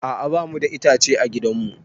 A'a ba mu da itace a gidan mu